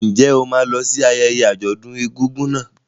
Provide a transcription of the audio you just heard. Ǹjẹ́ o máa lọ sí ayẹyẹ àjọ̀dún egúngún náà?